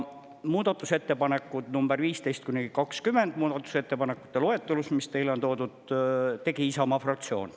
Muudatusettepanekud number 15–20 muudatusettepanekute loetelus, mis teile on toodud, tegi Isamaa fraktsioon.